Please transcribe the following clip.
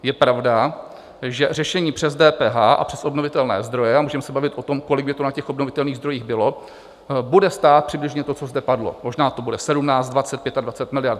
Je pravda, že řešení přes DPH a přes obnovitelné zdroje, a můžeme se bavit o tom, kolik by to na těch obnovitelných zdrojích bylo, bude stát přibližně to, co zde padlo, možná to bude 17, 20, 25 miliard.